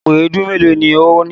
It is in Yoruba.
Àpò èédú mélòó ni o ní?